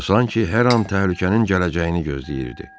O san ki, hər an təhlükənin gələcəyini gözləyirdi.